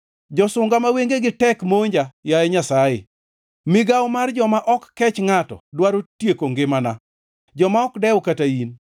Josunga ma wengegi tek monja, yaye Nyasaye; migawo mar joma ok kech ngʼato dwaro tieko ngimana, joma ok dew kata in.